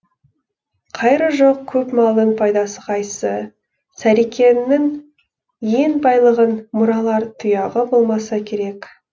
қайыры жоқ көп малдың пайдасы қайсы сарекеңнің ен байлығын мұралар тұяғы болмаса керек